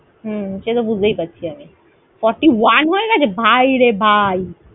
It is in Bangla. হম সে তো বুঝতেই পারছি আমি। Forty one হয়ে গেছে? ভাই রে ভাই।